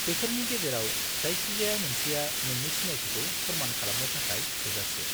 -बेफोरनि गेजेराव जायखिजाया मोनसेया नोंनि सिनायथिखौ फोरमान खालामनो थाखाय थोजासे।